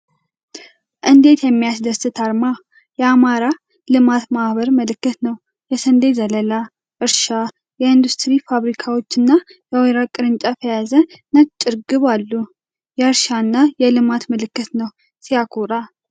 እንዴት የሚያስደስት አርማ! የአማራ ልማት ማህበር ምልክት ነው። የስንዴ ዘለላ፣ እርሻ፣ የኢንዱስትሪ ፋብሪካዎች፣ እና የወይራ ቅርንጫፍ የያዘች ነጭ ርግብ አሉ። የእርሻና የልማት ምልክት ነው። ሲያኮራ!